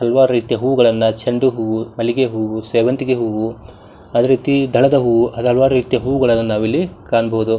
ಹಲವಾರು ರೀತಿಯ ಹೂವುಗಳನ್ನ ಚೆಂಡುಹೂವು ಮಲ್ಲಿಗೆ ಹೂವು ಸೇವಂತಿಗೆ ಹೂವು ಅದೇ ರೀತಿ ಧಳಾದ ಹೂವು ಹಾಗು ಹಲವಾರು ರೀತಿಯ ಹೂವುಗಳನ್ನ ನಾವಿಲ್ಲಿ ಕಾಣಬಹುದು.